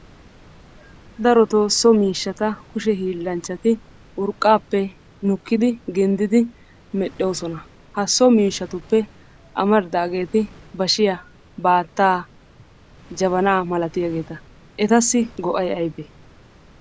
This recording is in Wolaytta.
Darottoo so miishshata kushe hiillanchchati urqqaappe nukkidi ginddiddi medhdhoosona. Ha so miishshatuppe amaridaageeti bashiya, baattaa, jabanaa malatiyaageeta, etassi go'ay aybee?